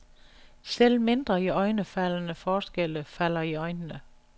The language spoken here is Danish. Selv mindre iøjnefaldende forskelle falder i øjnene.